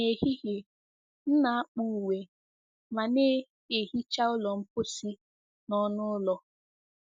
N'ehihie, m na-akpụ uwe ma na-ehicha ụlọ mposi na ọnụ ụlọ.